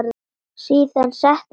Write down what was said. Síðan settust þau öll.